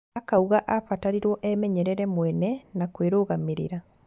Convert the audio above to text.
Akauga abatarirwo emenyerere mwene na kwĩrũgamĩrĩra.